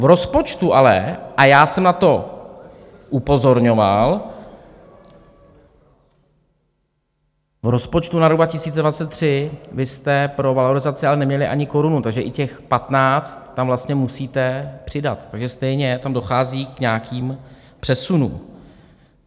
V rozpočtu ale, a já jsem na to upozorňoval, v rozpočtu na rok 2023 vy jste pro valorizaci ale neměli ani korunu, takže i těch 15 tam vlastně musíte přidat, takže stejně tam dochází k nějakým přesunům.